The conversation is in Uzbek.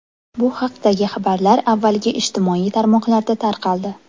Bu haqdagi xabarlar avvaliga ijtimoiy tarmoqlarda tarqaldi.